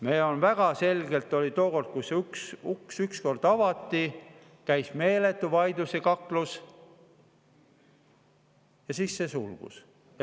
Tookord oli väga selgelt nii, et kui see uks avati, käis meeletu vaidlus ja kaklus ning siis see sulgus.